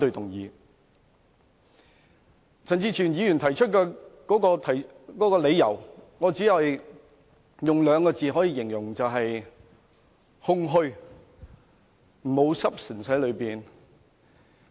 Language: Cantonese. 對於陳志全議員提出議案的理由，我只可以用兩個字形容，便是"空虛"，當中並沒有 substance。